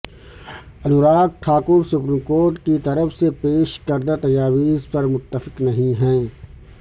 Anurag Thakur supreme court کی طرف سے پیش کردہ تجاویز پر متفق نہیں ہیں